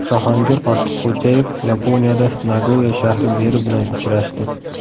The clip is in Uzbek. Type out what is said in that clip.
Jahongir Ortiqxo‘jayev Yaponiyada Nagoya shahri meri bilan uchrashdi.